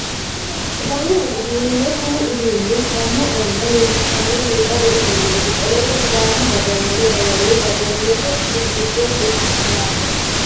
Sidaamu budu uduune Kuni uduunni sidaamu ayema leellishano biifado uduuneeti qoleno sidaamu daga wole daganni badanose coye giddo mittoho yaate